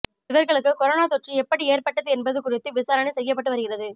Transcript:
இவர்களுக்கு கொரோனா தொற்று எப்படி ஏற்பட்டது என்பது குறித்து விசாரணை செய்யப்பட்டு வருகிறது